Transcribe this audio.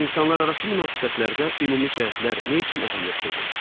İnsanlararası münasibətlərdə ümumi cəhətlər nə üçün əhəmiyyətlidir?